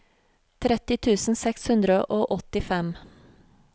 tretti tusen seks hundre og åttifem